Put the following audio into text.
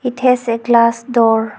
It has a glass door.